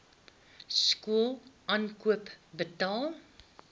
skool aankoop betaal